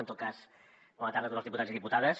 en tot cas bona tarda a tots els diputats i diputades